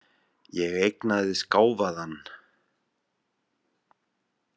Ég eignaðist gáfaðan.